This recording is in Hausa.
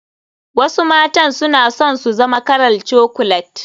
Wasu matan suna son su zama kalar chocolet.